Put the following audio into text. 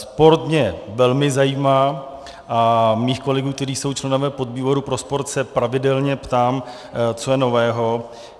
Sport mě velmi zajímá a svých kolegů, kteří jsou členové podvýboru pro sport, se pravidelně ptám, co je nového.